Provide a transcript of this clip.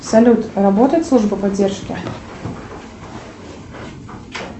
салют работает служба поддержки